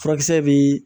Furakisɛ bi